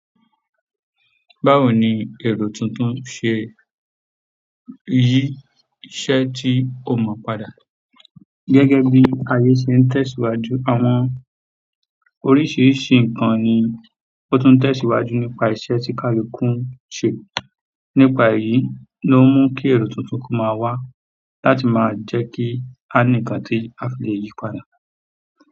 Báwo ni èrò tuntun ṣe yí iṣẹ́ tí ó mọ̀ padà? Gẹ́gẹ́ bí ayé ṣe ń tẹ̀síwájú, àwọn oríṣiríṣi nǹkan ni ó tún tẹ̀síwájú nípa iṣẹ́ tí kálu kún ṣe. Nípa èyí ló mú kí èrò tuntun kó máa wá láti máa jẹ́ kí a ní ǹkan tí a fi lè yíi padà.